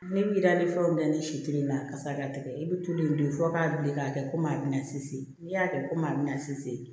Ne bi da ni fɛnw na ne si te na ka se ka tɛgɛ i bɛ tulu in de fɔ k'a wuli k'a kɛ komi a bɛna sise n'i y'a kɛ komi a bɛna sise